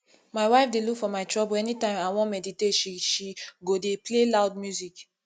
my wife dey look for my trouble any time i wan meditate she she go dey play loud music